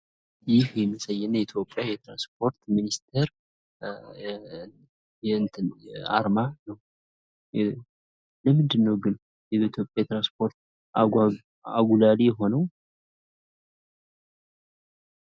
ይህ የኢትዮጵያና የትራንስፖርት ሚኒስቴር አርማ ነው። ለምንድ ነው ግን የኢትዮጵያ ትራንስፖርት አጉላይ የሆነው